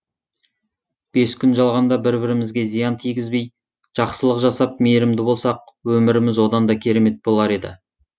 бес күн жалғанда бір бірімізге зиян тигізбей жақсылық жасап мейірімді болсақ өміріміз одан да керемет болар еді